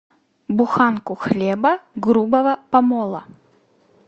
буханку хлеба грубого помола